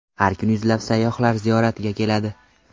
Har kuni yuzlab sayyohlar ziyoratga keladi.